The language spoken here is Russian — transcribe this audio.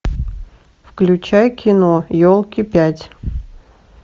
включай кино елки пять